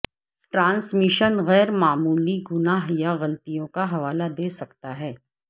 transmission غیر معمولی گناہ یا غلطیوں کا حوالہ دے سکتا ہے